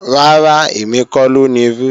Rárá, èmi kọ́ ló nirú